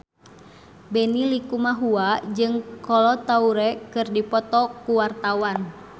Benny Likumahua jeung Kolo Taure keur dipoto ku wartawan